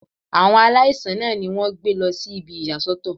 Àwọn aláìsàn náà ni wọ́n gbé lọ sí ibi ìyà sọ́tọ̀.